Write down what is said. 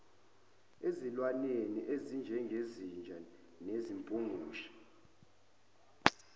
ezilwaneni ezinjengezinja izimpungushe